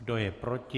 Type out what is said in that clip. Kdo je proti?